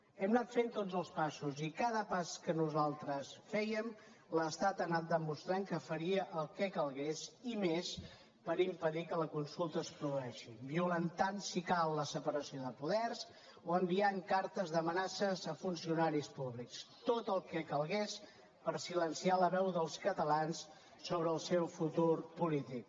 hem anat fent tots els passos i a cada pas que nosaltres fèiem l’estat ha anat demostrant que faria el que calgués i més per impedir que la consulta es produeixi violentant si cal la separació de poders o enviant cartes d’amenaces a funcionaris públics tot el que calgués per silenciar la veu dels catalans sobre el seu futur polític